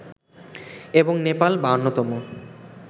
এবং নেপাল ৫২ তম